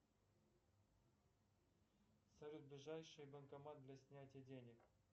салют ближайший банкомат для снятия денег